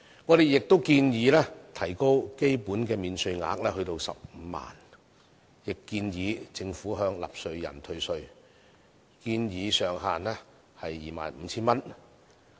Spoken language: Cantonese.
我們建議提高基本免稅額至15萬元，亦建議政府向納稅人退稅，建議上限為 25,000 元。